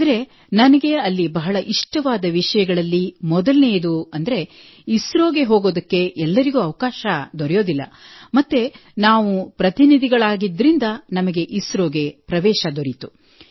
ಆದರೆ ನನಗೆ ಅಲ್ಲಿ ಬಹಳ ಇಷ್ಟವಾದ ವಿಷಯಗಳಲ್ಲಿ ಮೊದಲನೆಯದೆಂದರೆ ಇಸ್ರೋಗೆ ಹೋಗಲು ಎಲ್ಲರಿಗೂ ಅವಕಾಶ ದೊರೆಯುವುದಿಲ್ಲ ಮತ್ತು ನಾವು ಪ್ರತಿನಿಧಿಗಳಾಗಿದ್ದರಿಂದ ಅದಕ್ಕಾಗಿ ನಮಗೆ ಇಸ್ರೋಗೆ ಪ್ರವೇಶ ದೊರೆಯಿತು